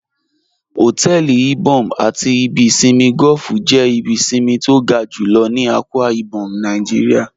Hotẹẹli Ìbòm̀ àti ìbì ìṣinmí golf jẹ́ ìbí ìṣinmí tí o ga júlọ̀ ní Akwa Ibom Naijíríà